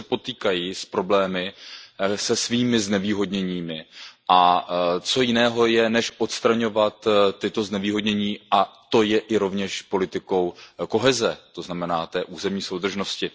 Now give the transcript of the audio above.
Oni se potýkají s problémy, se svými znevýhodněními, a co jiného je, než odstraňovat tyto znevýhodnění, a to je i rovněž politikou koheze, to znamená té územní soudržnosti.